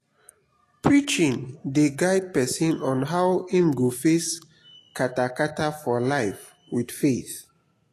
preaching dey guide pesin on how im go face kata-kata for life with faith.